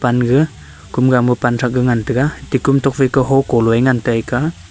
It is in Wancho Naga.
unga kumga ma panthrak e ngan tega tekum tokphai ka hoko loe ngan tega.